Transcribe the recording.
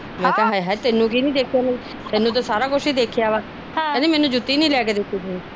ਮੈ ਕਿਹਾ ਤੈਨੂੰ ਕੀ ਨੀ ਦੇਖਿਆ ਮੈ ਤੈਨੂੰ ਤਾ ਸਾਰਾ ਕੁਛ ਦੀ ਦੇਖਿਆ ਕਹਿੰਦੀ ਮੈਨੂੰ ਜੂਤੀ ਨੀ ਲੈ ਕੇ ਦਿੱਤੀ।